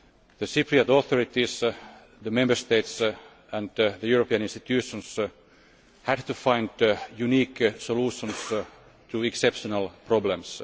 The Cypriot authorities, the Member States and the European institutions had to find unique solutions to exceptional problems.